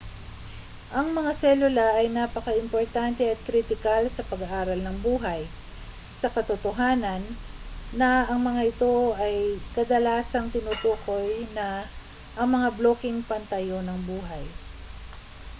ang mga selula ay napakaimportante at kritikal sa pag-aaral ng buhay sa katotohanan na ang mga ito ay kadalasang tinutukoy na ang mga blokeng pantayo ng buhay